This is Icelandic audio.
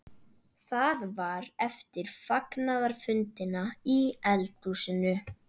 Það var eftir fagnaðarfundina í eldhúsinu.